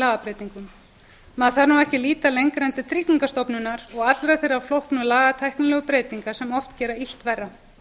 lagabreytingum maður þarf ekki að líta lengra en til tryggingastofnunar og allra þeirra flóknu lagatæknilegu breytinga sem oft gera illt verra